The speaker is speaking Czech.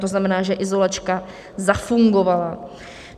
To znamená, že izolačka zafungovala.